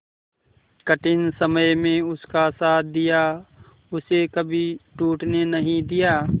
कठिन समय में उसका साथ दिया उसे कभी टूटने नहीं दिया